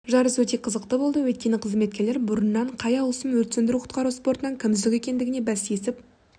жарыс өте қызықты болды өйткені қызметкерлер бұрыннан қай ауысым өрт сөндіру-құтқару спортынан кім үздік екендігіне бәстесіп